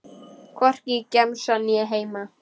Hvorki í gemsann né heima.